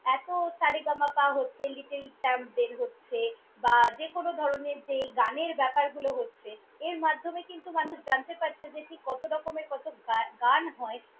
এতো সা রে গা মা পা হচ্ছে, little champ বের হচ্ছে বা যেকোনো ধরনের যে এই গানের ব্যাপারগুলো হচ্ছে। এর মাধ্যমে মানুষ জানতে পারছে যে ঠিক কতরকমের কত গান হয়।